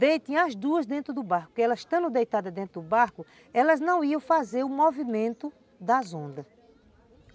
Deitem as duas dentro do barco, porque elas estando deitadas dentro do barco, elas não iam fazer o movimento das ondas.